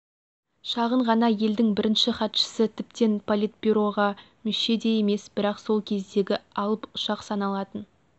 шағын ғана елдің бірінші хатшысы тіптен политбюроға мүше де емес бірақ сол кездегі алып ұшақ саналатын